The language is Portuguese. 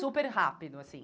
Super rápido, assim.